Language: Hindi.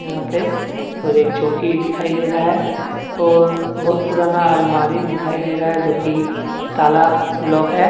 यहां पे और एक चौकी दिखाई दे रहा है और बहुत पुराना अलमारी दिखाई दे रहा है जोकि ताला लॉक है।